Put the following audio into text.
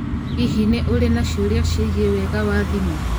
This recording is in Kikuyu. Hihi nĩ ũrĩ na ciũria ciĩgiĩ wega wa thimũ?